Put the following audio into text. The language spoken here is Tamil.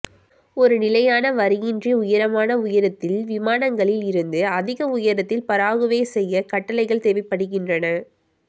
ஒரு நிலையான வரியின்றி உயரமான உயரத்தில் விமானங்களில் இருந்து அதிக உயரத்தில் பராகுவே செய்ய கட்டளைகள் தேவைப்படுகின்றன